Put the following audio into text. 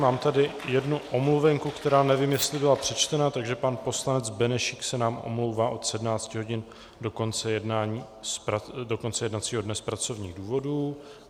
Mám tady jednu omluvenku, která nevím, jestli byla přečtená, takže pan poslanec Benešík se nám omlouvá od 17 hodin do konce jednacího dne z pracovních důvodů.